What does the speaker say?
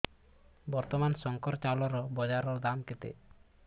ବର୍ତ୍ତମାନ ଶଙ୍କର ଚାଉଳର ବଜାର ଦାମ୍ କେତେ